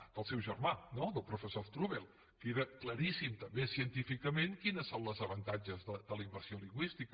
del seu germà no del professor strubell que era claríssim també científicament quins són els avantatges de la immersió lingüística